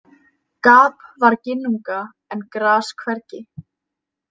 Gap var ginnunga en gras hvergi.